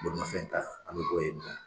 Bolimafɛn ta, an be bɔ yen nɔ.